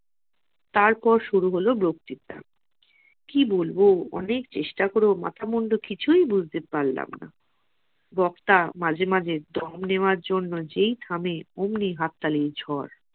তারপর শুরু হলো বক্ত্রিতা । কি বলবো অনেক চেষ্টা করেও মাথা মুন্ডু কিছুই বুঝতে পারলাম না। বক্তা মাঝে মাঝে দম নেওয়ার জন্য যেই থামে অমনি হাত তালির ঝড়।